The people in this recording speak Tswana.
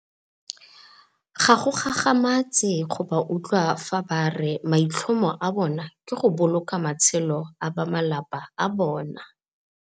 Ga go gagamatse go ba utlwa fa ba re maitlhomo a bona ke go boloka matshelo a ba malapa a bona.